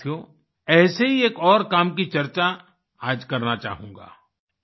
साथियो ऐसे ही एक और काम कि चर्चा आज करना चाहूँगा